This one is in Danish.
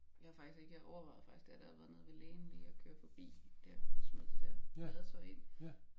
Jeg har faktisk ikke jeg overvejede faktisk dér da jeg havde været nede ved lægen lige og køre forbi dér og smide det der badetøj ind